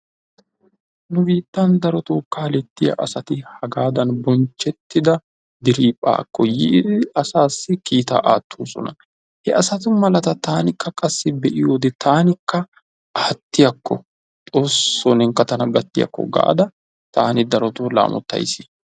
Nu biittan darotoo kaalettiya asati hagaadan bonchchettida diriiphphaakko yiidi asaassi kiitaa aattoosona. He asatu malata taanikka qassi be'iyode tankka aattiyakko xoossoo nenkka tana gattiyakko gaada taani darotoo laamottays.